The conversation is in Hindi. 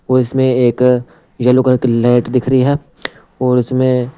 और इसमें एक येलो कलर की लाइट दिख रही है और इसमें--